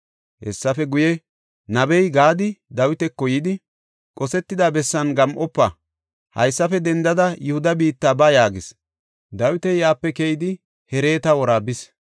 Hessafe guye, nabey Gaadi Dawitako yidi, “Qosetida bessan gam7ofa; haysafe dendada Yihuda biitta ba” yaagis; Dawiti yaape keyidi Hereta wora bis.